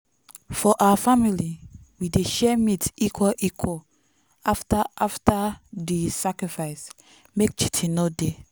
for our family we dey share meat equal equal after after di sacrifice make cheating no dey